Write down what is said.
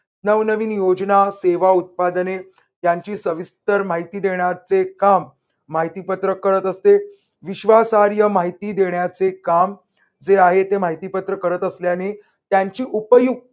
नवनवीन योजना, सेवा, उत्पादने त्यांची सविस्तर माहिती देण्याचे काम माहितीपत्रक करत असते. विश्वासहार्य माहिती देण्याचे काम जे आहे ते माहिती पत्रक करत असल्याने त्यांची उपयुक्त